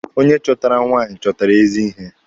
Onye chọtara nwaanyị chọtara ezi ihe.